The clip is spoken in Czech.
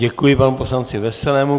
Děkuji panu poslanci Veselému.